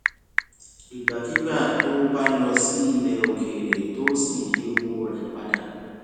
ìgbàkigbà tó o bá lọ sí ilè òkèèrè tó o sì yí owó rẹ pa dà